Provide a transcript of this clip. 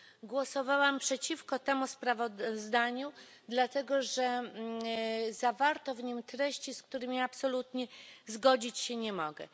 Głosowałam przeciwko temu sprawozdaniu dlatego, że zawarto w nim treści, z którymi absolutnie zgodzić się nie mogę.